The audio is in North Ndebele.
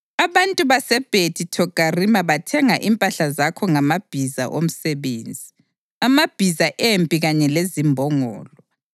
Abantu baseBhethi Thogarima bathenga impahla zakho ngamabhiza omsebenzi, amabhiza empi kanye lezimbongolo.